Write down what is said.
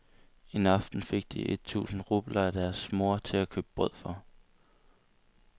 En aften fik de et tusinde rubler af deres mor til at købe brød for.